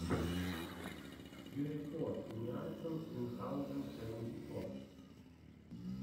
юэфоуниарсан минхаузен сэванти фор